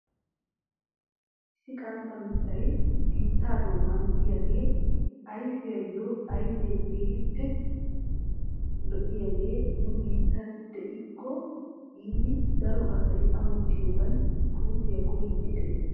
Issi qantta mittay biittaa doonan diyagee ayiffiyo ayfee keehippe lo'iyaagee nu biittaan diyakko giidi daro asay ammottiyoogan puutiya koyiiddi des.